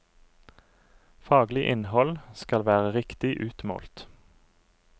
Faglig innhold skal være riktig utmålt.